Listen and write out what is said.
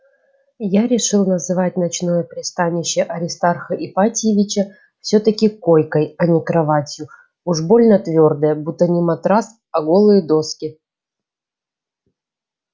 я решил называть ночное пристанище аристарха ипатьевича всё-таки койкой а не кроватью уж больно твёрдая будто не матрас а голые доски